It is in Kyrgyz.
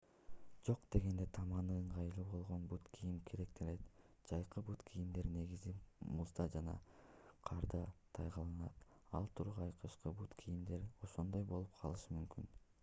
жок дегенде таманы ыңгайлуу болгон бут кийим керектелет жайкы бут кийимдер негизи музда жана карда тайгаланат ал тургай кышкы бут кийимдер да ошондой болуп калышы мүмкүн